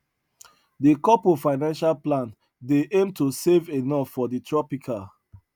de couple financial plan dey aim to save enough for the tropical